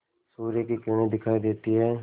सूर्य की किरणें दिखाई देती हैं